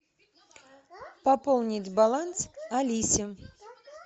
пополнить баланс алисе